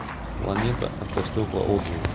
планета автостекла отзывы